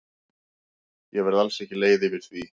Ég verð alls ekki leið yfir því.